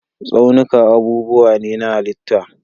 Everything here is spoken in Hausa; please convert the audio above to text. Tsaunuka abubuwa ne na halitta.